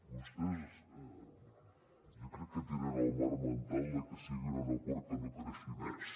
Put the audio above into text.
vostès jo crec que tenen el marc mental de que sigui un aeroport que no creixi més